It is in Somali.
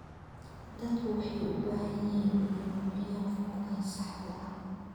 Dadku waxay u baahan yihiin inay buuxiyaan foomka saxda ah.